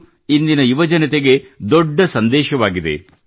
ಇದು ಇಂದಿನ ಯುವಜನತೆಗೆ ದೊಡ್ಡ ಸಂದೇಶವಾಗಿದೆ